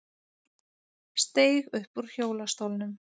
Steig upp úr hjólastólnum